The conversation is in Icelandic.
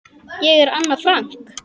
Ég er Anna Frank.